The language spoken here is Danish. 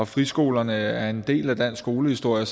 friskolerne er en del af dansk skolehistorie og